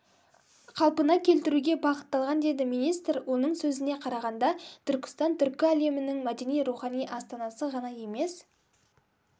қалпына келтіруге бағытталған деді министр оның сөзіне қарағанда түркістан түркі әлемінің мәдени-рухани астанасы ғана емес